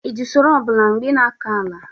ị ji usoro ọ bụla mgbe ị na-akọ ala?